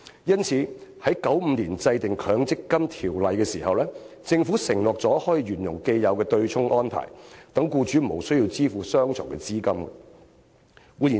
因此，在1995年制定《強制性公積金計劃條例》時，政府承諾沿用既有的對沖安排，讓僱主無須雙重供款。